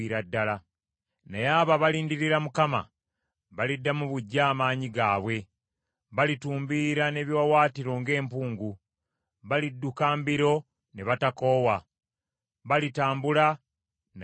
Naye abo abalindirira Mukama baliddamu buggya amaanyi gaabwe, balitumbiira n’ebiwaawaatiro ng’empungu; balidduka mbiro ne batakoowa, balitambula naye ne batazirika.